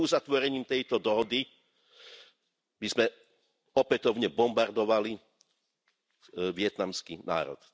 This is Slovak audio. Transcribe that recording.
Neuzatvorením tejto dohody by sme opätovne bombardovali vietnamský národ.